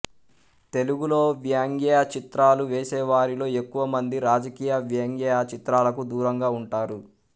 తెలుగులో వ్యంగ్య చిత్రాలు వేసేవారిలో ఎక్కువమంది రాజకీయ వ్యంగ్య చిత్రాలకు దూరంగా ఉంటారు